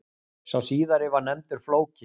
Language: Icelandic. Sá síðari var nefndur Flóki.